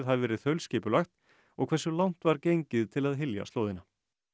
hafi verið þaulskipulagt og hversu langt var gengið til að hylja slóðina